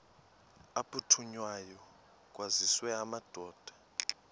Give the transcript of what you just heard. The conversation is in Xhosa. aphuthunywayo kwaziswe amadoda